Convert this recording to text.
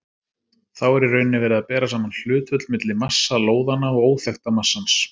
Þá er í rauninni verið að bera saman hlutföll milli massa lóðanna og óþekkta massans.